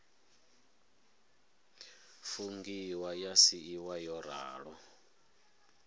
fungiwa ya siiwa yo ralo